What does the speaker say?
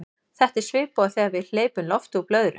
þetta er svipað og þegar við hleypum lofti úr blöðru